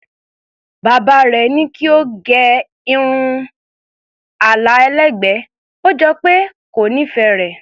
Bàbá rẹ̀ ní kí ó gẹ irun àlà ẹlẹ́gbẹ̀ẹ́, ó jọ pé kò nífẹ̀ẹ́ rẹ̀.